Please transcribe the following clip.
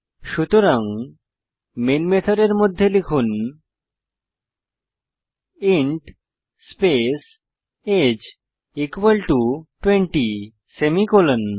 সুতরাং মেন মেথডের মধ্যে লিখুন ইন্ট স্পেস আগে 20 সেমিকোলন